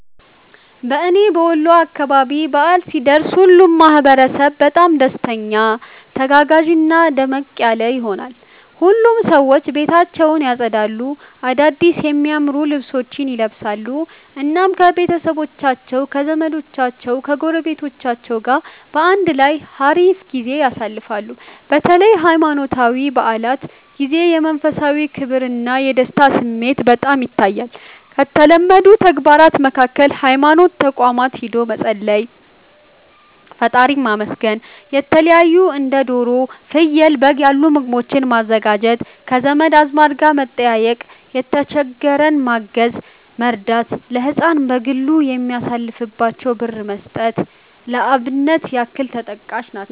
በእና በወሎ አካባቢ በዓል ሲደርስ ሁሉም ማህበረሰብ በጣም ደስተኛ፣ ተጋጋዥና ደመቅ ያለ ይሆናል። ሁሉም ሰዎች ቤታቸውን ያፀዳሉ፣ አዳድስ የሚያማምሩ ልብሶችን ይለብሳሉ፣ እናም ከቤተሰቦቻቸው ከዘመዶቻቸው ጎረቤቶች ጋር በአንድ ላይ ሀሪፍ ጊዜ ያሳልፋሉ። በተለይ በሃይማኖታዊ በዓላት ጊዜ የመንፈሳዊ ክብርና የደስታ ስሜት በጣም ይታያል። ከተለመዱ ተግባራት መካከል ሀይማኖት ተቋማት ሂዶ መፀለይ፣ መፀለይ (ፈጣሪን ማመስገን)፣የተለታዩ እንደ ዶሮ፣ ፍየል፣ በግ ያሉ ምግቦችን ማዘጋጀት፣ ከዘመድ አዝማድ ጋር መጠያየቅ፣ የተሸገረን ማገዝ(መርዳት)፣ ለህፃናት በዓሉን የሚያሳልፉበትን ብር መስጠት ለአብነት ያክል ተጠቃሽ ናቸው።